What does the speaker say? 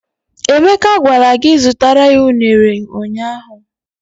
Emeka gwara gị zutara ya ụnere ụnyaahụ!